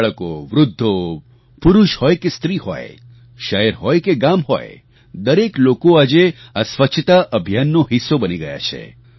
બાળકોવૃદ્ધો પુરુષ હોય કે સ્ત્રી હોય શહેર હોય કે ગામ હોય દરેક લોકો આજે આ સ્વચ્છતા અભિયાનનો હિસ્સો બની ગયા છે